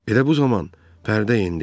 Elə bu zaman pərdə endi.